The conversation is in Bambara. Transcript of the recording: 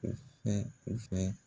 U fɛ, u fɛ